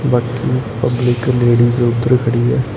But public ladies ਉਧਰ ਖੜੀ ਆ।